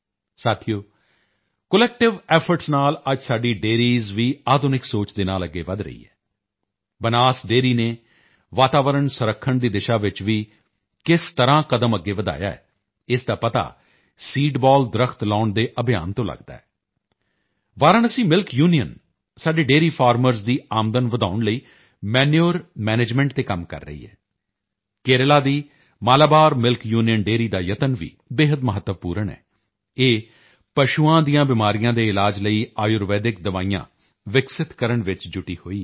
ਸਾਥੀਓ collective efforts ਨਾਲ ਅੱਜ ਸਾਡੀ ਡੇਅਰੀਜ਼ ਵੀ ਆਧੁਨਿਕ ਸੋਚ ਦੇ ਨਾਲ ਅੱਗੇ ਵਧ ਰਹੀ ਹੈ ਬਨਾਸ ਡੇਅਰੀ ਨੇ ਵਾਤਾਵਰਣ ਸੰਰਖਣ ਦੀ ਦਿਸ਼ਾ ਚ ਵੀ ਕਿਸ ਤਰ੍ਹਾਂ ਕਦਮ ਅੱਗੇ ਵਧਾਇਆ ਹੈ ਇਸ ਦਾ ਪਤਾ ਸੀਡਬਾਲ ਦਰੱਖਤ ਲਗਾਉਣ ਦੇ ਅਭਿਯਾਨ ਤੋਂ ਲਗਦਾ ਹੈ ਵਾਰਾਣਸੀ ਮਿਲਕ ਯੂਨੀਅਨ ਸਾਡੇ ਡੇਅਰੀ ਫਾਰਮਰਾਂ ਦੀ ਆਮਦਨ ਵਧਾਉਣ ਲਈ ਮਨੂਰੇ ਮੈਨੇਜਮੈਂਟ ਤੇ ਕੰਮ ਕਰ ਰਹੀ ਹੈ ਕੇਰਲਾ ਦੀ ਮਾਲਾਬਾਰ ਮਿਲਕ ਯੂਨੀਅਨ ਡੇਅਰੀ ਦਾ ਯਤਨ ਵੀ ਬੇਹੱਦ ਮਹੱਤਵਪੂਰਨ ਹੈ ਇਹ ਪਸ਼ੂਆਂ ਦੀਆਂ ਬਿਮਾਰੀਆਂ ਦੇ ਇਲਾਜ ਲਈ ਆਯੁਰਵੇਦਿਕ ਦਵਾਈਆਂ ਵਿਕਸਿਤ ਕਰਨ ਵਿੱਚ ਜੁਟੀ ਹੋਈ ਹੈ